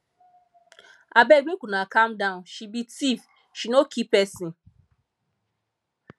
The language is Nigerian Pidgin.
abeg make una calm down she be tief she no kill person